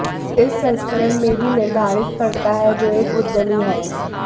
इस संस्करण में भी निर्धारित करता है जो एक उद्यमी है